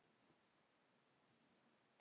Amma var alveg einstök kona.